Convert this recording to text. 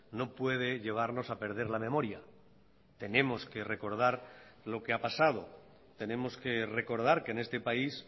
no puede llevarnos a perder la memoria tenemos que recordar lo que ha pasado tenemos que recordar que en este país